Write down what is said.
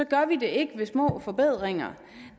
gør vi det ikke ved små forbedringer